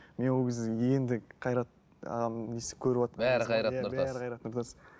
мен ол кезде енді қайрат ағамның несін көріватқан бәрі қайрат нұртас